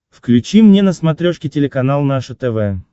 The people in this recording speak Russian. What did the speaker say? включи мне на смотрешке телеканал наше тв